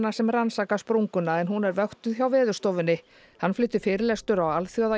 sem rannsaka sprunguna en hún er vöktuð hjá Veðurstofunni hann flutti fyrirlestur á